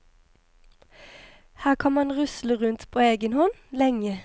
Her kan man rusle rundt på egen hånd, lenge.